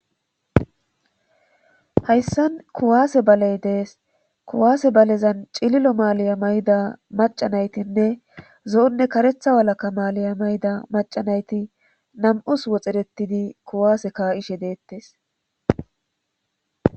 hayssan kuwaase baley dees kuwaase balezan cililo maaliya mayda macanaytinne zo7onne karetha walaka maaliya mayda macanayti nam7us woxerettidi kuwaase ka7ishe deettes